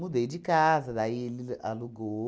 Mudei de casa, daí ele alugou.